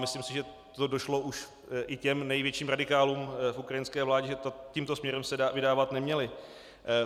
Myslím si, že to došlo už i těm největším radikálům v ukrajinské vládě, že tímto směrem se vydávat neměli.